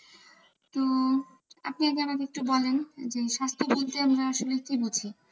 তো আপনি আগে আমাকে একটু বলেন যে, স্বাস্থ্য বলতে আমরা আসলে কি বুঝি।